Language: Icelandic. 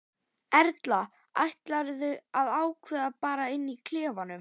Erla: Ætlarðu að ákveða bara inni í klefanum?